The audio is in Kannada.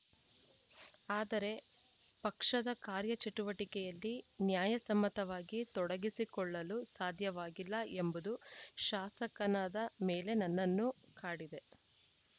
ಆದರೆ ಪಕ್ಷದ ಕಾರ್ಯ ಚಟುವಟಿಕೆಯಲ್ಲಿ ನ್ಯಾಯಸಮ್ಮತವಾಗಿ ತೊಡಗಿಸಿಕೊಳ್ಳಲು ಸಾಧ್ಯವಾಗಿಲ್ಲ ಎಂಬುದು ಶಾಸಕನಾದ ಮೇಲೆ ನನ್ನನ್ನು ಕಾಡಿದೆ